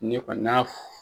Ne kɔni n'a